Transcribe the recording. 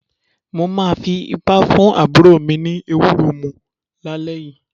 Mo máa fi ipá fún àbúrò mi ní ewúro mu lálẹ́ yìí.